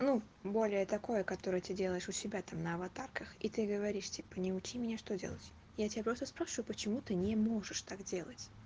ну более такое которое ты делаешь у себя там на аватарках и ты говоришь типа не учи меня что делать я тебя просто спрашиваю почему ты не можешь так делать